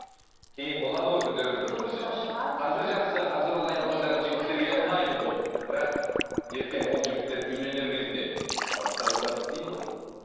кейін болады ғой күндердің бір күнінде бірақ ертең ол жігіттер үйленер кезде басқа қыздарды іздейді ғой